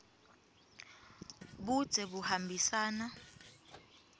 budze buhambisana